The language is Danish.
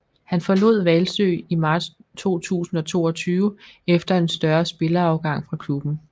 Han forlod Hvalsø i marts 2022 efter en større spillerafgang fra klubben